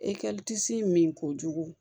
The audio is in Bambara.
E disi min kojugu